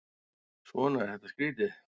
Svona er þetta skrýtið.